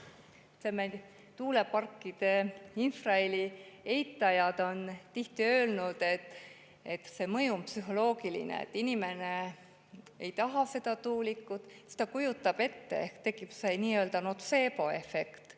Tuuleparkide infraheli eitajad on tihti öelnud, et see mõju on psühholoogiline, et inimene ei taha seda tuulikut ja siis ta kujutab ette ehk tekib nii-öelda notseeboefekt.